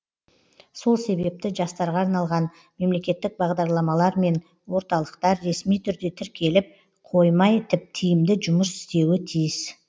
сол себепті жастарға арналған мемлекеттік бағдарламалар мен орталықтар ресми түрде тіркеліп қоймай тиімді жұмыс істеуі тиіс